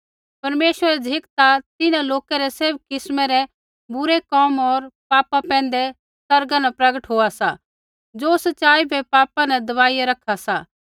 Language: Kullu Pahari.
परमेश्वरा री झ़िक ता तिन्हां लोका रै सैभ किस्मै रै बुरै कोम होर पापा पैंधै आसमाना न प्रगट होआ सा ज़ो सच़ाई बै पापा न दबाई रखा सा